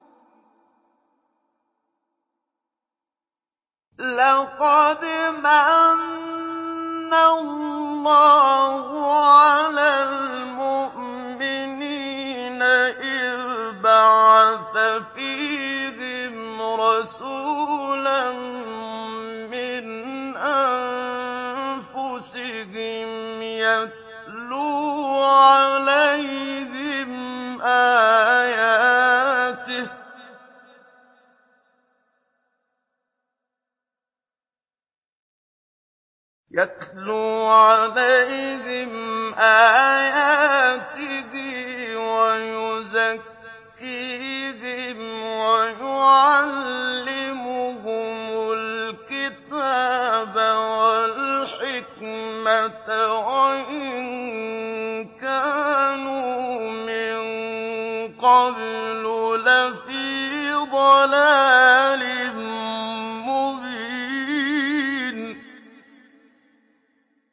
لَقَدْ مَنَّ اللَّهُ عَلَى الْمُؤْمِنِينَ إِذْ بَعَثَ فِيهِمْ رَسُولًا مِّنْ أَنفُسِهِمْ يَتْلُو عَلَيْهِمْ آيَاتِهِ وَيُزَكِّيهِمْ وَيُعَلِّمُهُمُ الْكِتَابَ وَالْحِكْمَةَ وَإِن كَانُوا مِن قَبْلُ لَفِي ضَلَالٍ مُّبِينٍ